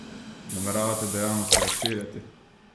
Nameravate dejavnosti razširjati?